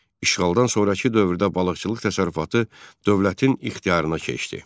İşğaldan sonrakı dövrdə balıqçılıq təsərrüfatı dövlətin ixtiyarına keçdi.